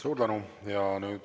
Suur tänu!